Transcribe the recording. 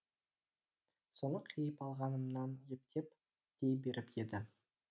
соны қиып алғанымнан ептеп дей беріп еді